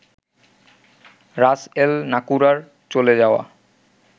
রাস এল-নাকুরার চলে যাওয়া